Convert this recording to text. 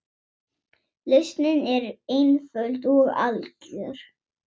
Lausnin var einföld og algjör.